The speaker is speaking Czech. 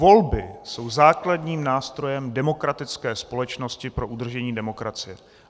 Volby jsou základním nástrojem demokratické společnosti pro udržení demokracie.